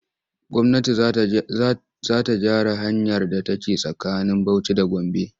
Gwamnati za ta gyaran hanyar da ke tsakanin Bauci da Gombe.